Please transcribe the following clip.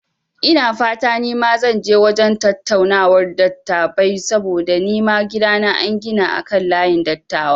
Ina fata nima zan je wajen tattaunawar dattabai saboda nima gidana an gina akan layin dattawa